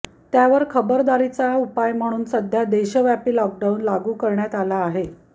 त्यावर खबरदारीचा उपाय म्हणून सध्या देशव्यापी लॉकडाऊन लागू करण्यात आला आहे